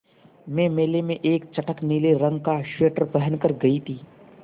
मैं मेले में एक चटख नीले रंग का स्वेटर पहन कर गयी थी